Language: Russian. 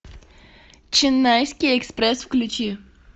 ченнайский экспресс включи